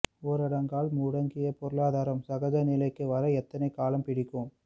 ஊரடங்கால் முடங்கிய பொருளாதாரம் சகஜ நிலைக்கு வர எத்தனை காலம் பிடிக்கும்